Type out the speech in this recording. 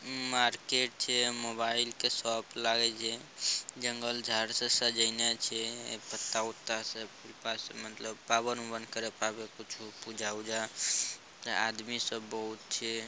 Market छे mobile के shop लागल छे जंगल झार से सजायाने छे ए पत्ता उता से पस मतलब पावन अवन करे पावे कुछू पूजा उजा आदमी सब बहुत छे।